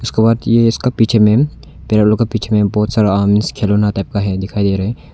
इसके बाद इसके पीछे में पैरट लोग के पीछे में बहुत सारा आर्म्स खिलौना टाइप दिखाई दे रहा है।